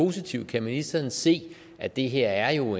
positiv kan ministeren se at det her jo